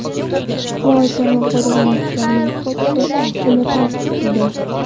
Ijtimoiy tarmoq foydalanuvchilarining ko‘pi uni tanqid qildi.